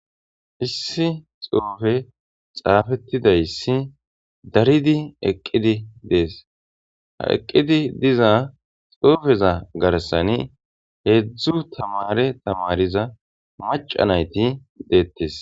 Issi xuufe xaafetidaysi daridi eqidi des ha eqidi diza xuufeza harsani heezu tamaare tamaariza maca nayti de'etes.